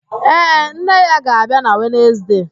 Ee, nne ya ga-abịa na Wenezde.